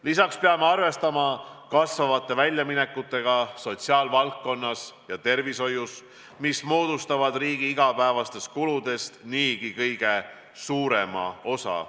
Lisaks peame arvestama kasvavate väljaminekutega sotsiaalvaldkonnas ja tervishoius, mis moodustavad riigi igapäevastest kuludest niigi kõige suurema osa.